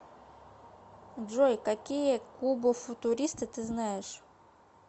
джой какие кубофутуристы ты знаешь